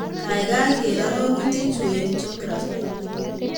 Gaigai ker arorutiichu eng' jiografii